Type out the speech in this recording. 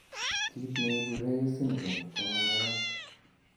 Kiit neibu reye syndrome komanaiyat